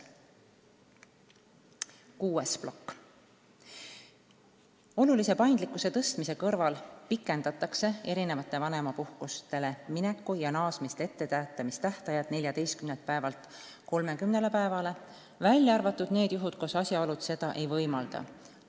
Kuues plokk: väga olulise paindlikkuse suurendamise kõrval pikendatakse erinevatele vanemapuhkustele mineku ja naasmisest etteteatamise tähtajad 14 päevalt 30 päevale, välja arvatud juhtumid, kus asjaolud seda ei võimalda.